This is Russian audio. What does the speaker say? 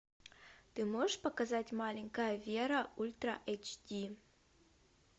ты можешь показать маленькая вера ультра эйч ди